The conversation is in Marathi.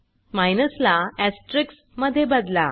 माइनस ला एस्टेरिस्क मध्ये बदला